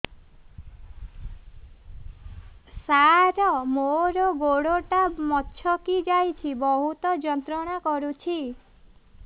ସାର ମୋର ଗୋଡ ଟା ମଛକି ଯାଇଛି ବହୁତ ଯନ୍ତ୍ରଣା କରୁଛି